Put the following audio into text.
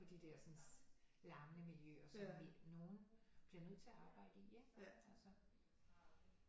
De dersens larmende miljøer som vi nogle bliver nødt til at arbejde i altså